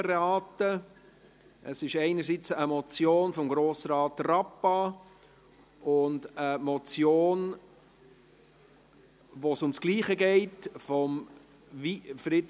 Es handelt sich einerseits eine Motion von Grossrat Rappa und andererseits um eine Motion, von Fritz Wyss, SVP, bei der es um dasselbe geht .